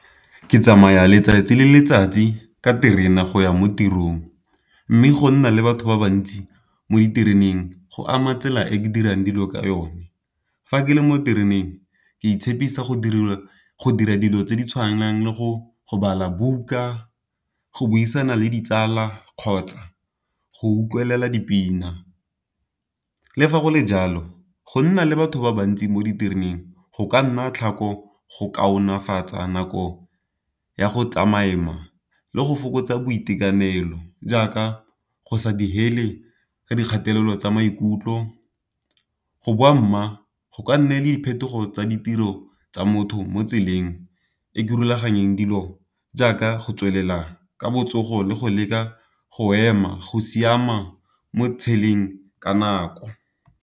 Ke tsamaya letsatsi le letsatsi ka terena go ya mo tirong, mme go nna le batho ba bantsi mo ditereneng go ama tsela e e dirang dilo ka yone. Fa ke le mo tereneng ke itshepisa go dira dilo tse di tshwanang le go bala buka, go buisana le ditsala, kgotsa go utlwelela dipina. Le fa go le jalo go nna le batho ba bantsi mo ditereneng go ka nna tlhako go kaonefatsa nako ya go le go fokotsa boitekanelo, jaaka go sa digele ka dikgatelelo tsa maikutlo, go boa mma go ka nne le diphetogo tsa ditiro tsa motho mo tseleng e ke rulaganeng dilo, jaaka go tswelela ka botsogo le go leka go ema go siama mo tsheleng ka nako.